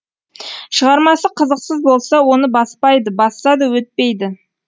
шығармасы қызықсыз болса оны баспайды басса да өтпейді